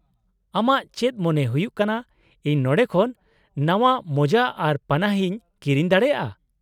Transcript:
-ᱟᱢᱟᱜ ᱪᱮᱫ ᱢᱚᱱᱮ ᱦᱩᱭᱩᱜ ᱠᱟᱱᱟ ᱤᱧ ᱱᱚᱸᱰᱮ ᱠᱷᱚᱱ ᱱᱟᱶᱟ ᱢᱳᱡᱟ ᱟᱨ ᱯᱟᱱᱟᱦᱤᱧ ᱠᱤᱨᱤᱧ ᱫᱟᱲᱮᱭᱟᱜᱼᱟ ?